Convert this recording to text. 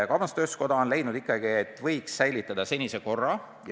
Kaubandus-tööstuskoda on leidnud, et võiks säilitada senise korra.